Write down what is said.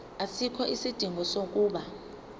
asikho isidingo sokuba